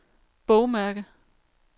bogmærke